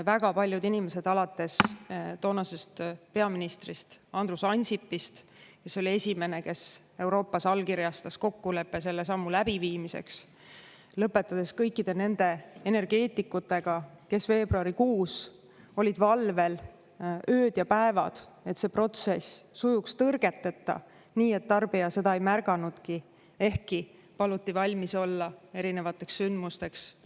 Väga paljud inimesed alates toonasest peaministrist Andrus Ansipist, kes oli esimene, kes Euroopas allkirjastas kokkuleppe selle sammu läbiviimiseks, lõpetades kõikide nende energeetikutega, kes veebruarikuus olid valvel ööd ja päevad, et see protsess sujuks tõrgeteta, nii et tarbija seda ei märganudki, ehkki paluti valmis olla erinevateks sündmusteks.